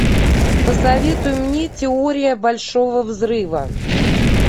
посоветуй мне теория большого взрыва